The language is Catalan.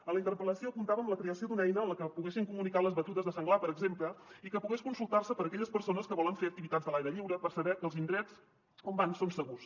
en la interpel·lació apuntàvem la creació d’una eina amb la que poguessin co·municar les batudes de senglar per exemple i que pogués consultar·se per aquelles persones que volen fer activitats a l’aire lliure per saber que els indrets on van són segurs